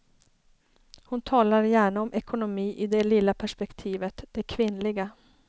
Hon talar gärna om ekonomi i det lilla perspektivet, det kvinnliga.